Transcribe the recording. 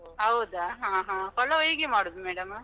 ಹೌದಾ? ಹ ಹ, ಪಲಾವ್ ಹೀಗೆ ಮಾಡುದ್ madam?